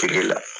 Kile la